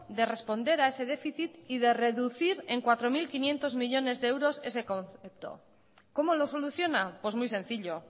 de responder a ese déficit y de reducir en cuatro mil quinientos millónes de euros ese concepto cómo lo soluciona pues muy sencillo